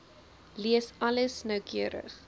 lees alles noukeurig